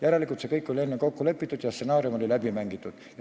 Järelikult, see kõik oli enne kokku lepitud ja stsenaarium oli läbi mängitud.